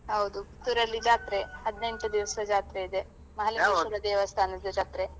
ಹೌದು ಊರಲ್ಲಿ ಜಾತ್ರೆ ಹದಿನೆಂಟು ದಿವ್ಸ ಜಾತ್ರೆ ಇದೆ ಮಹಾಲಿಂಗೇಶ್ವರ ದೇವಸ್ಥಾನದ ಜಾತ್ರೆ.